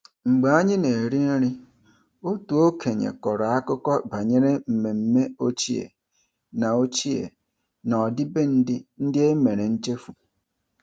Mgbe anyị na-eri nri, otu okenye kọrọ akụkọ banyere mmemme ochie na ochie na ọdịbendị ndị e mere nchefu.